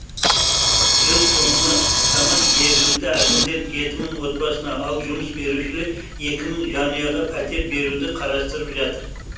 жыл соңына таман жергілікті әкімдер жеті мың отбасына ал жұмыс берушілер екі мың жанұяға пәтер беруді қарастырып жатыр